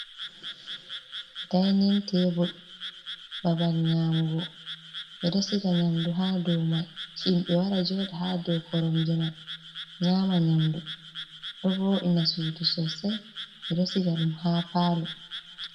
Dining table babal nyamugo, ɓe ɗo siga nyamdu ha dou mai, himɓe wara joɗa ha dou koronje mai nyama nyamdu, ɗo voɗina suudu sosai, ɓe ɗo siga ɗum ha palour.